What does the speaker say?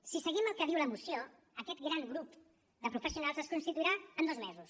si seguim el que diu la moció aquest gran grup de professionals es constituirà en dos mesos